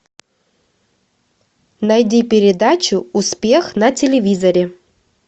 найди передачу успех на телевизоре